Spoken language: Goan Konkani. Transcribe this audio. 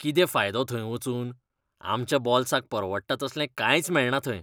कितें फायदो थंय वचून? आमच्या बोल्साक परवडटा तसलें कांयच मेळना थंय.